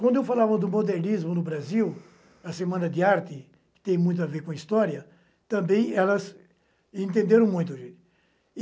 Quando eu falava do modernismo no Brasil, a Semana de Arte, que tem muito a ver com a história, também elas entenderam muito.